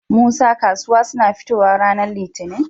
Musa kasuwa suna fitowa ranar litinin?